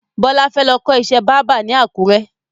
Bọlá fẹ́ lọ kọ́ ìṣẹ́ báábà ni àkùrẹ́